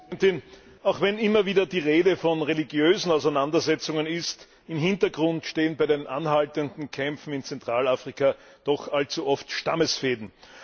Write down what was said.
Frau Präsidentin! Auch wenn immer wieder die Rede von religiösen Auseinandersetzungen ist, im Hintergrund stehen bei den anhaltenden Kämpfen in Zentralafrika doch allzu oft Stammesfehden.